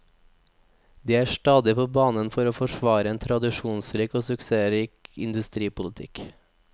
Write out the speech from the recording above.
De er stadig på banen for å forsvarere en tradisjonsrik og suksessrik industripolitikk.